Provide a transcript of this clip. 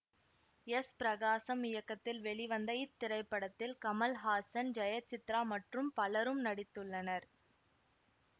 S Prakasam இயக்கத்தில் வெளிவந்த இத்திரைப்படத்தில் கமல்ஹாசன் ஜெயசித்ரா மற்றும் பலரும் நடித்துள்ளனர்